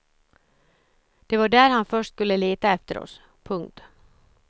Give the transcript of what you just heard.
Det var där han först skulle leta efter oss. punkt